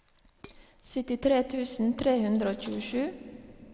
syttitre tusen tre hundre og tjuesju